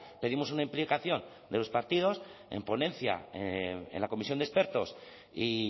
pedimos una implicación de los partidos en ponencia en la comisión de expertos y